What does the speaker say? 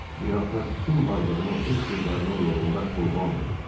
Bir ata bütün varlığını öz qızlarının yolunda qurban verib.